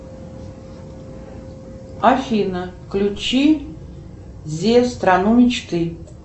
афина включи зея страну мечты